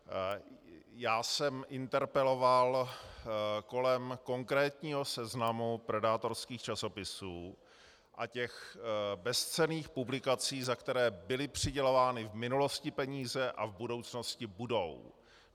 Já jsem interpeloval kolem konkrétního seznamu predátorských časopisů a těch bezcenných publikací, za které byly přidělovány v minulosti peníze a v budoucnosti budou.